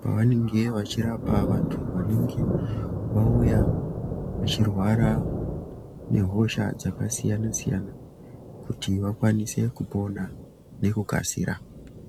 pavanenge vachirapa vantu vanenge vachirwara nehosha dzakasiyana siyana kuti vakwanise kupona nekukasira.